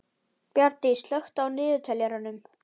Bjarndís, slökktu á niðurteljaranum.